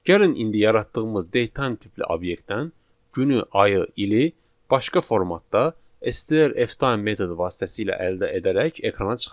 Gəlin indi yaratdığımız date time tipli obyektdən günü, ayı, ili başqa formatda STR F time metodu vasitəsilə əldə edərək ekrana çıxardaq.